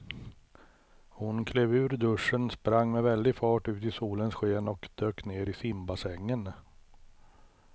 Hon klev ur duschen, sprang med väldig fart ut i solens sken och dök ner i simbassängen.